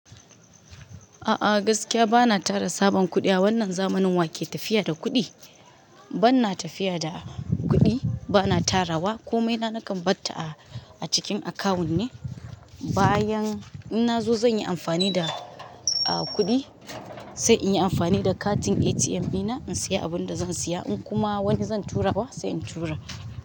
A'a gaskiya bana tara sabon kuɗi a wannan zamanin wa ke tafiya da kuɗi? Bana tafiya da kuɗi, bana tara wa komai na nakan barta a cikin akawun ne. Bayan in na zo zan yi amfani da, ah, kuɗi sai in yi amfani da katin ATM ɗina in saya abin da zan saya. In kuma wani zan tura wa sai in tura.